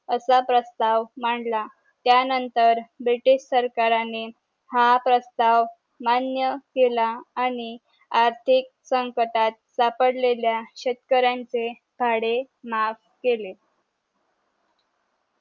आसा प्रस्ताव मांडला त्या नंतर ब्रिटिश सरकारानि हा प्रस्ताव मान्य केला आणि आर्थिक संकटात सापडलेल्या शेतकऱ्यांचे भाडे माफ केले